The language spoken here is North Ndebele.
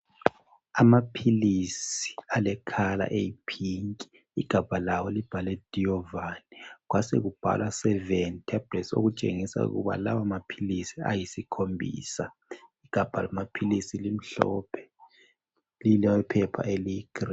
Amaphilisi alekhala eyiphinki. Igabha lawo libhalwe diyovani kwasekubhalwa seveni thabhulethi okutshengisa ukuba lawa maphilisi ayisikhombisa. Igabha lamaphilisi limhlophe, lilephepha eliyigilini.